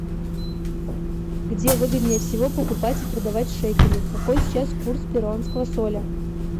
где выгоднее всего покупать и продавать шекели какой сейчас курс перуанского соля